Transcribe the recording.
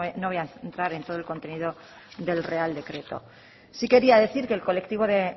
no me voy a centrar en todo el contenido del real decreto sí quería decir que el colectivo de